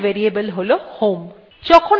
পরবর্তী variable হল home